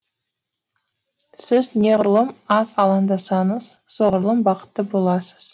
сіз неғұрлым аз алаңдасаңыз соғұрлым бақытты боласыз